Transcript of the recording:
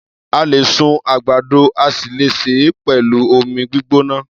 A lè sun àgbàdo a sì le sè é pẹ̀lú omi gbígbóná.